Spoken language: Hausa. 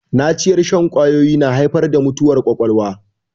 Naciyar shan ƙwawoyi na haifar da mutuwar ƙwaƙwalwa